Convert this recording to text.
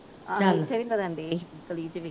ਉੱਥੇ ਵੀ